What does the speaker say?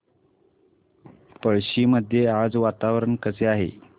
पळशी मध्ये आज वातावरण कसे आहे